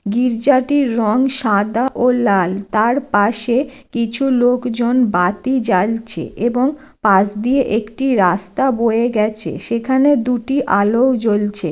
গির্জাটির রং সাদা ও লাল। তার পাশে কিছু লোকজন বাতি জ্বালছে এবং পাশ দিয়ে একটি রাস্তা বয়ে গেছে। সেখানে দুটি আলোও জ্বলছে।